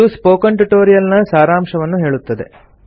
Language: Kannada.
ಇದು ಸ್ಪೋಕನ್ ಟ್ಯುಟೊರಿಯಲ್ ನ ಸಾರಾಂಶವನ್ನು ಹೇಳುತ್ತದೆ